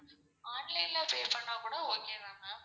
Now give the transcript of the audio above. online ல pay பண்ணா கூட okay தான் ma'am.